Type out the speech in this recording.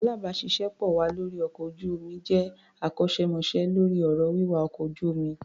Alábàáṣiṣé pọ̀ wa lórí ọkọ̀ ojú-omi jẹ́ akọ́ṣẹ́mọṣẹ́ lórí ọ̀rọ̀ wíwa ọkọ̀ ojú-omi.